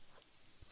ಸ್ನೇಹಿತರೇ